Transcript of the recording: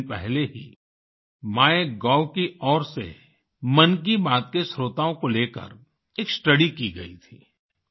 अभी कुछ दिन पहले ही माइगोव की ओर से मन की बात के श्रोताओं को लेकर एक स्टडी की गई थी